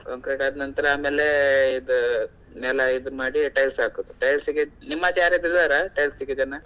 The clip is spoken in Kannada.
Concrete ಆದ ನಂತರ ಆಮೇಲೆ ಇದ್ ನೆಲ ಇದ್ ಮಾಡಿ tiles ಹಾಕೋದು. Tiles ಗೆ ನಿಮ್ಮಲ್ಲಿ ಯಾರಾದ್ರೂ ಇದಾರಾ tiles ಗೆ ಜನ?